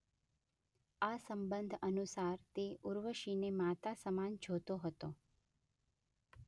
આ સંબંધ અનુસાર તે ઉર્વશીને માતા સમાન જોતો હતો.